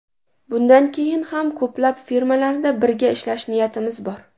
Bundan keyin ham ko‘plab filmlarda birga ishlash niyatimiz bor.